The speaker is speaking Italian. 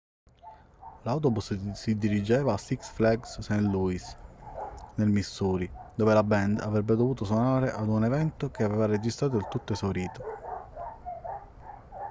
l'autobus si dirigeva a six flags st. louis nel missouri dove la band avrebbe dovuto suonare ad un evento che aveva registrato il tutto esaurito